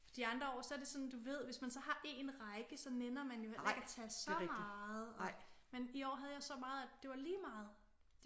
De andre år så det er sådan du ved hvis man så har en række så nænner man jo heller ikke at tage så meget og men i år der havde jeg så meget at det var lige meget